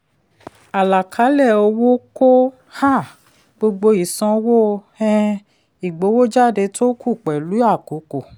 àlàkalẹ̀ owó kó um gbogbo ìsanwó um ìgbowójáde tó kù pẹ̀lú àkókò.